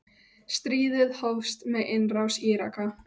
Stríðið hófst með innrás Íraka.